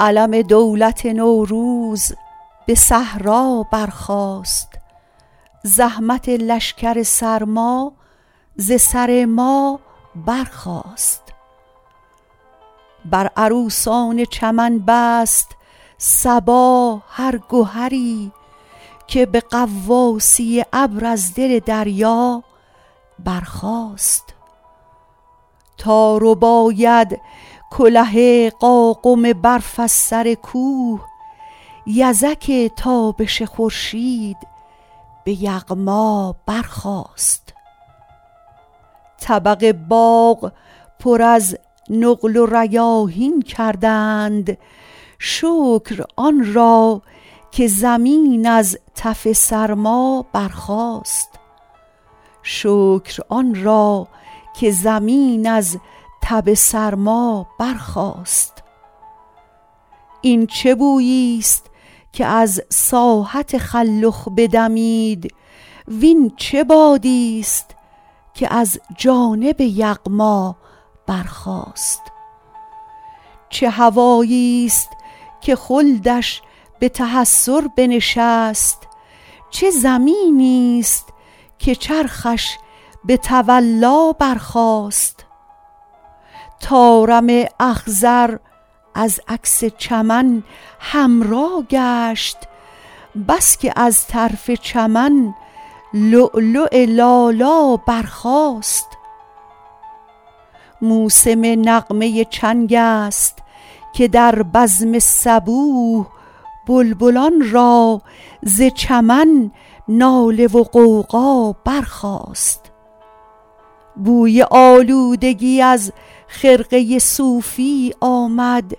علم دولت نوروز به صحرا برخاست زحمت لشکر سرما ز سر ما برخاست بر عروسان چمن بست صبا هر گهری که به غواصی ابر از دل دریا برخاست تا رباید کله قاقم برف از سر کوه یزک تابش خورشید به یغما برخاست طبق باغ پر از نقل و ریاحین کردند شکر آن را که زمین از تب سرما برخاست این چه بوییست که از ساحت خلخ بدمید وین چه بادیست که از جانب یغما برخاست چه هواییست که خلدش به تحسر بنشست چه زمینیست که چرخش به تولا برخاست طارم اخضر از عکس چمن حمرا گشت بس که از طرف چمن لؤلؤ لالا برخاست موسم نغمه چنگست که در بزم صبوح بلبلان را ز چمن ناله و غوغا برخاست بوی آلودگی از خرقه صوفی آمد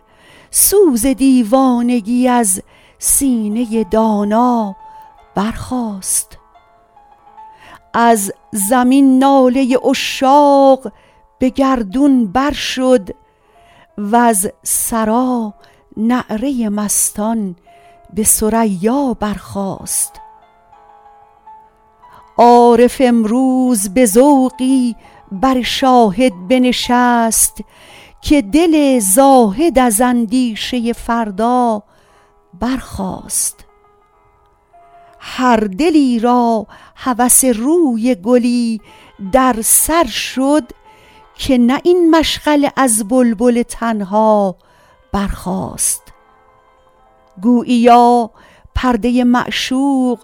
سوز دیوانگی از سینه دانا برخاست از زمین ناله عشاق به گردون بر شد وز ثری نعره مستان به ثریا برخاست عارف امروز به ذوقی بر شاهد بنشست که دل زاهد از اندیشه فردا برخاست هر دلی را هوس روی گلی در سر شد که نه این مشغله از بلبل تنها برخاست گوییا پرده معشوق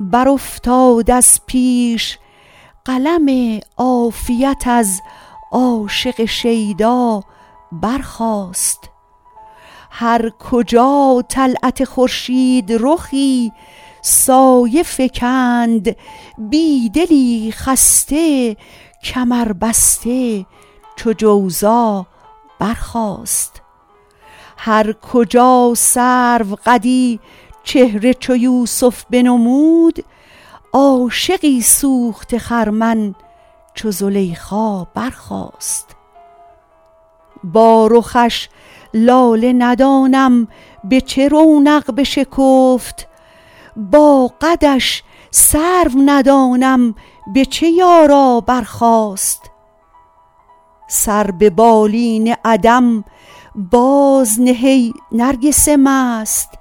برافتاد از پیش قلم عافیت از عاشق شیدا برخاست هر کجا طلعت خورشیدرخی سایه فکند بیدلی خسته کمربسته چو جوزا برخاست هرکجا سروقدی چهره چو یوسف بنمود عاشقی سوخته خرمن چو زلیخا برخاست با رخش لاله ندانم به چه رونق بشکفت با قدش سرو ندانم به چه یارا برخاست سر به بالین عدم بازنه ای نرگس مست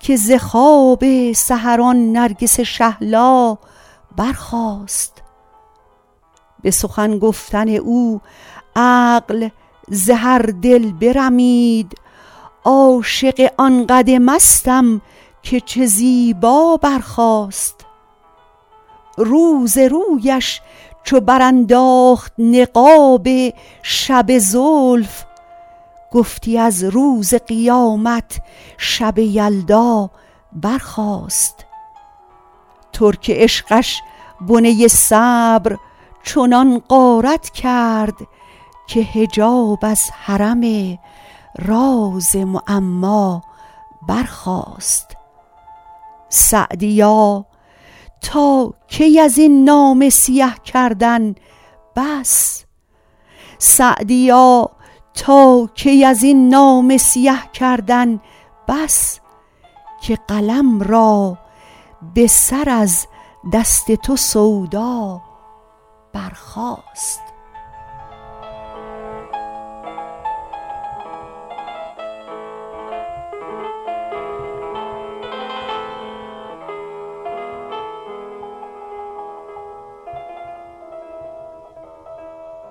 که ز خواب سحر آن نرگس شهلا برخاست به سخن گفتن او عقل ز هر دل برمید عاشق آن قد مستم که چه زیبا برخاست روز رویش چو برانداخت نقاب شب زلف گفتی از روز قیامت شب یلدا برخاست ترک عشقش بنه صبر چنان غارت کرد که حجاب از حرم راز معما برخاست سعدیا تا کی ازین نامه سیه کردن بس که قلم را به سر از دست تو سودا برخاست